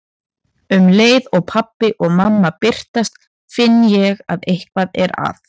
Um leið og pabbi og mamma birtast finn ég að eitthvað er að.